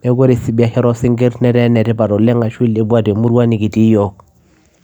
etaa ene tipat oleng